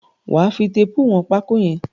Wà á fi téépù wọn pákó yẹn!